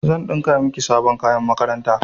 Zan ɗinka miki sabon kayan makaranta.